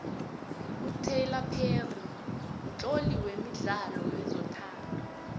utylor perry mtloli wemidlalo wezothando